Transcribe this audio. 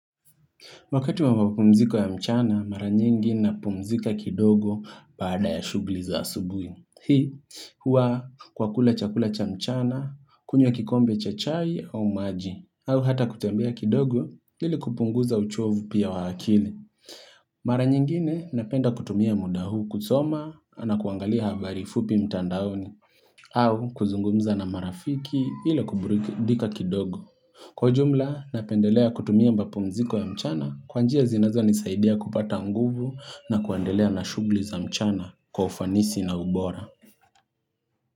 Wakati wa mapumziko ya mchana, mara nyingi napumzika kidogo baada ya shughuli za asubuhi. Hii, hua kwa kula chakula cha mchana, kunywa kikombe cha chai au maji. Au hata kutembea kidogo, ili kupunguza uchovu pia wa akili. Mara nyingine napenda kutumia muda huu kusoma na kuangalia habari fupi mtandaoni. Au kuzungumza na marafiki ili kuburudika kidogo. Kwa jumla napendelea kutumia mapumziko ya mchana kwa njia zinazonisaidia kupata nguvu na kuandelea na shughuli za mchana kwa ufanisi na ubora.